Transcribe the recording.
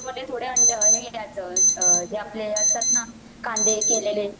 थोडे अंडे हे आपलं हे घ्यायचं ते आपला हे असतात ना कांदे केलेले